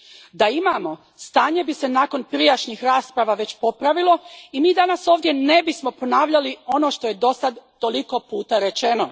Da imamo, stanje bi se nakon prijašnjih rasprava već popravilo i mi danas ovdje ne bismo ponavljali ono što je dosada toliko puta rečeno.